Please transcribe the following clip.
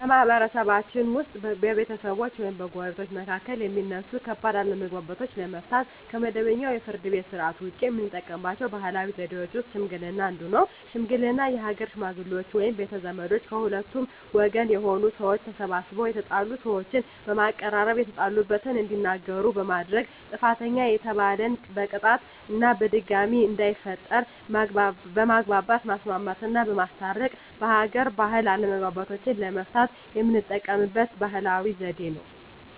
በማህበረሰብችን ውስጥ በቤተሰቦች ወይም በጎረቤቶች መካከል የሚነሱ ከባድ አለመግባባቶችን ለመፍታት (ከመደበኛው የፍርድ ቤት ሥርዓት ውጪ) የምንጠቀምባቸው ባህላዊ ዘዴዎች ውስጥ ሽምግልና አንዱ ነው። ሽምግልና የሀገር ሽመግሌዎች ወይም ቤተ ዘመዶች ከሁለቱም ወገን የሆኑ ሰዎች ተሰባስበው የተጣሉ ሰዎችን በማቀራረብ የተጣሉበትን እንዲናገሩ በማድረግ ጥፋተኛ የተባለን በቅጣት እና ድጋሜ እንዳይፈጠር በማግባባት ማስማማትና በማስታረቅ በሀገር ባህል አለመግባባቶችን ለመፍታት የምንጠቀምበት ባህላዊ ዘዴ ነው።